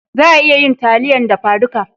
Za a iya yin taliyan dafa duka